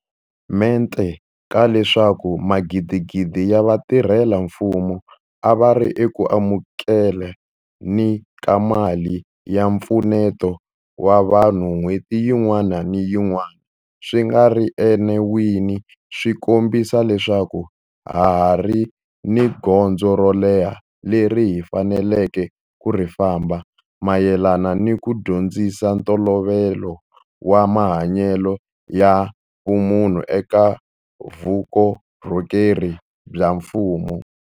Mente ka leswaku magidigidi ya vatirhela mfumo a va ri eku amukele ni ka mali ya mpfuneto wa vanhu n'hweti yin'wana ni yin'wana swi nga ri enawini swi kombisa leswaku ha ha ri ni gondzo ro leha leri hi faneleke ku ri famba mayelana ni ku dyondzisa ntolovelo wa mahanyelo ya vumunhu eka vukorhokeri bya mfumo.